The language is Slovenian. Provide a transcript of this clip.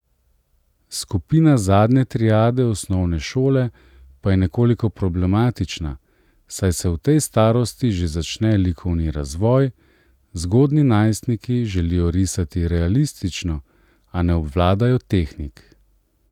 Skupina zadnje triade osnovne šole pa je nekoliko problematična, saj se v tej starosti že začne likovni razvoj, zgodnji najstniki želijo risati realistično, a ne obvladajo tehnik.